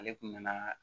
Ale kun nana